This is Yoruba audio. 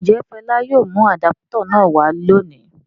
Ǹjẹ́ Fọlá yóò mú àdápútọ̀ náà wá lónìí?